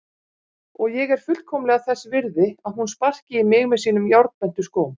Og ég er fullkomlega þess virði að hún sparki í mig með sínum járnbentu skóm.